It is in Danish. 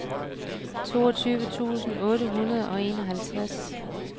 toogtyve tusind otte hundrede og enoghalvfems